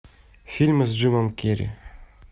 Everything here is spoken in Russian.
фильмы с джимом керри